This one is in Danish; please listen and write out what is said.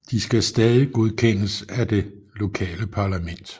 De skal stadig godkendes af det lokale parlament